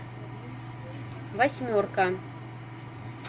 восьмерка